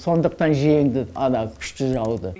сондықтан жеңді ана күшті жауды